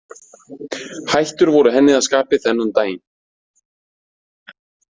Hættur voru henni að skapi þennan daginn.